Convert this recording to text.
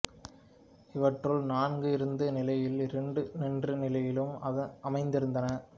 இவற்றுள் நான்கு இருந்த நிலையிலும் இரண்டு நின்ற நிலையிலும் அமைந்திருந்தன